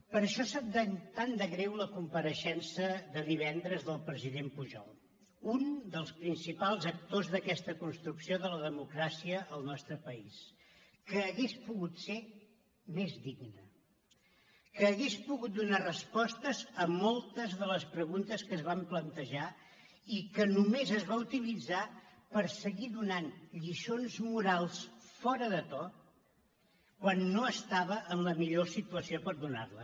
per això sap tan de greu la compareixença de divendres del president pujol un dels principals actors d’aquesta construcció de la democràcia en el nostre país que hauria pogut ser més digne que hauria pogut donar respostes a moltes de les preguntes que es van plantejar i que només es va utilitzar per seguir donant lliçons morals fora de to quan no estava en la millor situació per donar les